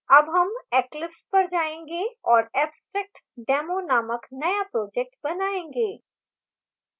अब हम eclipse पर जायेंगे और abstractdemo नामक now project बनायेंगे